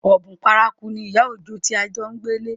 Ọ̀bùn paraku ni ìyá Òjó tí à ń jo gbélé